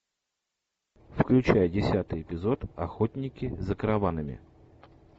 включай десятый эпизод охотники за караванами